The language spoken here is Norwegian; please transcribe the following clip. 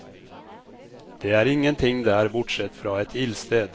Det er ingen ting der bortsett fra et ildsted.